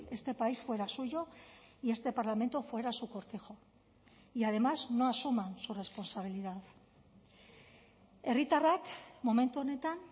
este país fuera suyo y este parlamento fuera su cortijo y además no asuman su responsabilidad herritarrak momentu honetan